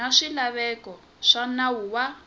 na swilaveko swa nawu wa